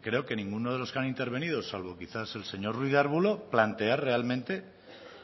creo que ninguno de los que han intervenido salvo quizás el señor ruiz de arbulo plantear realmente